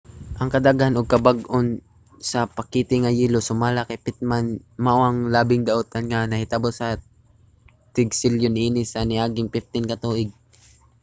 ang kadaghan ug kabag-on sa pakete nga yelo sumala kay pittman mao ang labing daotan nga nahitabo sa mga tig-selyo niini sa niaging 15 ka tuig